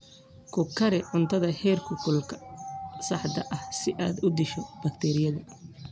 Ku kari cuntada heerkulka saxda ah si aad u disho bakteeriyada.